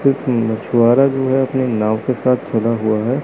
एक मछुआरा जो है अपनी नाव के साथ चला हुआ है।